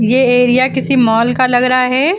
ये एरिया किसी मॉल का लग रहा है।